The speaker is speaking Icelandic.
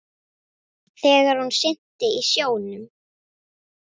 Þegar hún synti í sjónum.